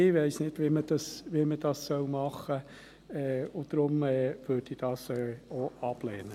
Ich weiss nicht, wie man dies tun soll, und deshalb würde ich dies auch ablehnen.